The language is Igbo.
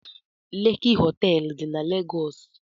Leki họteelụ dị na Legọs.